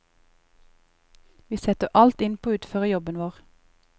Vi setter alt inn på å utføre jobben vår.